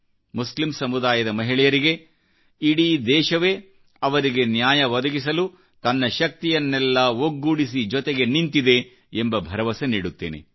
Muslim ಸಮುದಾಯದಮಹಿಳೆಯರಿಗೆ ಇಡೀ ದೇಶವೇ ಅವರಿಗೆ ನ್ಯಾಯ ಒದಗಿಸಲು ತನ್ನ ಶಕ್ತಿಯನ್ನೆಲ್ಲಾ ಒಗ್ಗೂಡಿಸಿ ಜೊತೆಗೆ ನಿಂತಿದೆ ಎಂಬ ಭರವಸೆ ನೀಡುತ್ತೇನೆ